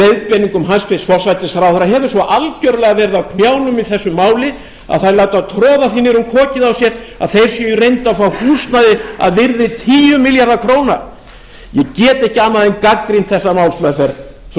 leiðbeiningum hæstvirtur forsætisráðherra hefur svo algerlega verið á knjánum í þessu máli að þær láta troða því niður um kokið á sér að þeir séu í reynd að fá húsnæði að virði tíu milljarða króna ég get ekki annað en gagnrýnt þessa málsmeðferð frú